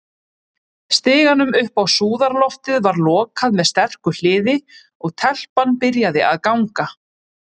Stiganum upp á súðarloftið var lokað með sterku hliði, og- telpan byrjaði að ganga.